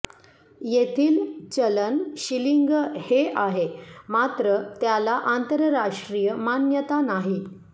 येथील चलन शिलिंग हे आहे मात्र त्याला आंतरराष्ट्रीय मान्यता नाही